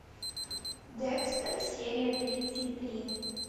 декстер серия тридцать три